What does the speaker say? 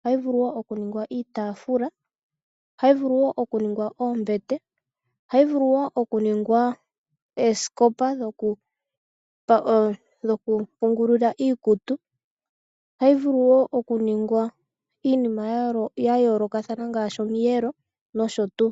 ohayi vulu wo oku ningwa iitafula, ohayi vulu wo oku ninga oombete, ohayi vulu wo oku ningwa ooskopa dhoku pungulilwa iikutu, ohayi vulu wo oku ninga iinima ya yolokathana ngashi omiyelo noshotu.